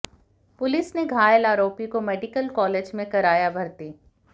police ने घायल आरोपी को मेडिकल कॉलेज में कराया भर्ती